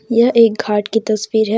यह एक घाट की तस्वीर है।